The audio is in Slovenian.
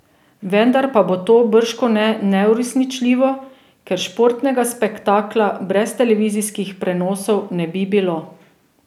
Vendar pa bo to bržkone neuresničljivo, ker športnega spektakla brez televizijskih prenosov ne bi bilo.